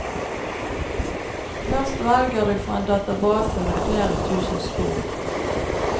Først velger du fra en database med flere tusen spor.